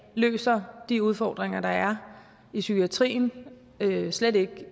løser de udfordringer der er i psykiatrien slet ikke